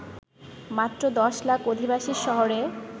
মাত্র ১০ লাখ অধিবাসীর শহরে